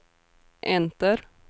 enter